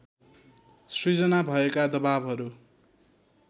सृजना भएका दबाबहरू